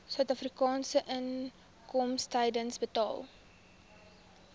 suidafrikaanse inkomstediens betaal